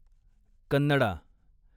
Kannada